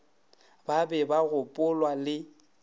ba be ba gopolwa le